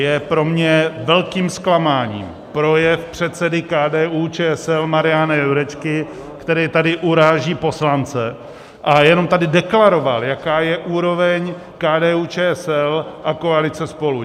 Je pro mě velkým zklamáním projev předsedy KDU-ČSL Mariana Jurečky, který tady uráží poslance a jenom tady deklaroval, jaká je úroveň KDU-ČSL a koalice SPOLU.